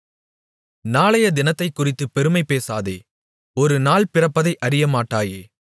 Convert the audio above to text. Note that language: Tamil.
நாளையத்தினத்தைக்குறித்துப் பெருமைபேசாதே ஒரு நாள் பிறப்பிப்பதை அறியமாட்டாயே